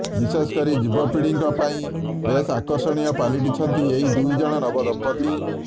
ବିଶେଷ କରି ଯୁବପିଢିଙ୍କ ପାଇଁ ବେଶ ଆକର୍ଷଣୀୟ ପାଲଟିଛନ୍ତି ଏହି ଦୁଇ ଜଣ ନବ ଦମ୍ପତି